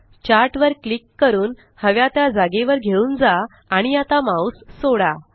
chart वर click करून हव्या त्या जागेवर घेऊन जा आणि आता माउस सोडा